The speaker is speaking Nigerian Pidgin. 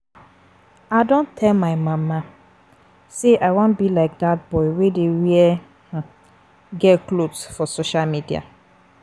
I don tell um my mama say I wan be like dat boy wey dey wear um girl cloth for social media